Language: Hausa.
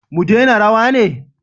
Mu dena rawa ne?